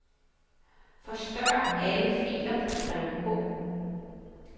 Forstør alle filer på drev H.